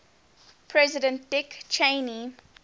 president dick cheney